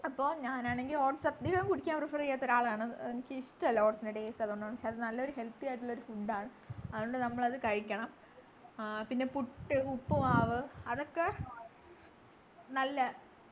അപ്പൊ ഞാനാണെങ്കി oats അധികം കുടിക്കാൻ prefer ചെയ്യാത്തൊരാളാണ് ഏർ എനിക്കിഷ്ടല്ല oats ൻ്റെ taste ക്ഷേ അത് നല്ലൊരു healthy ആയിട്ടുള്ളൊരു food ആണ് അതുകൊണ്ട് നമ്മളത് കഴിക്കണം പിന്നെ പുട്ട് ഉപ്പുമാവ് അതൊക്കെ നല്ലെ